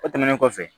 O tɛmɛnen kɔfɛ